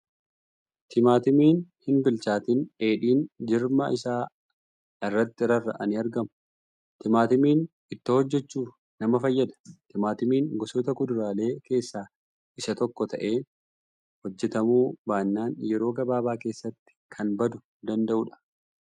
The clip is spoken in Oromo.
Timaatimiin hin bilchaatin dheedhiin jirma isaa irratti rarra'anii argamu. Timaatimiin ittoo hojjachuuf nama fayyada. Timaatimiin gosoota kuduraalee keessaa isa tokko ta'ee hojjatamuu baannan yeroo gabaabaa keessatti kan baduu danda'uudha .